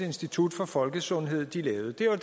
institut for folkesundhed lavede det